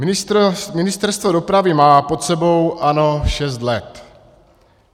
Ministerstvo dopravy má pod sebou ANO šest let.